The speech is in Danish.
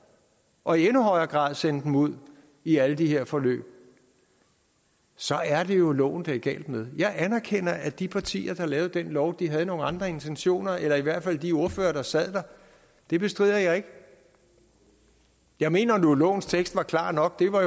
og i endnu højere grad sende dem ud i alle de her forløb så er det jo loven det er galt med jeg anerkender at de partier der lavede den lov havde nogle andre intentioner eller i hvert fald de ordførere der sad der det bestrider jeg ikke jeg mener nu at lovens tekst var klar nok det var